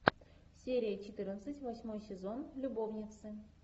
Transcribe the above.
серия четырнадцать восьмой сезон любовницы